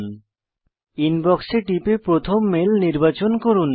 এখন ইনবক্স এ টিপে প্রথম মেল নির্বাচন করুন